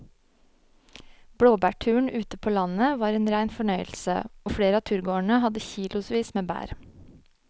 Blåbærturen ute på landet var en rein fornøyelse og flere av turgåerene hadde kilosvis med bær.